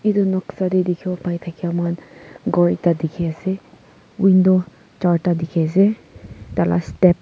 etu noksa te dikhi wo pai thakia moi khan ghor ekta dikhi ase window charta dikhi ase tai la step .